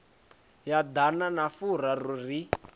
ya ḓana na furaru ri